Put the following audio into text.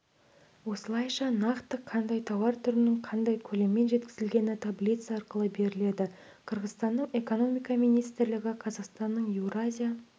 осылайша нақты қандай тауар түрінің қанша көлеммен жеткізілгені таблица арқылы беріледі қырғызстанның экономика министрлігі қазақстанның еуразия